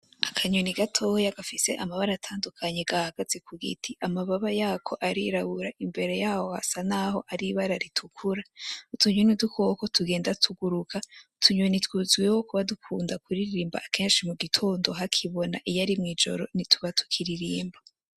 Akanyoni gatoya gafise amabara atandukanye gahagaze kugiti, amababa yako arirabura imbere yaho hasa naho ari ibara ritukura. Utunyoni ni udukoko tugenda tuguruka, utunyoni tuzwiho kuba dukunda kuririmba kenshi mugitondo hakibona, iyo ari mwijoro ntituba tukiririmba.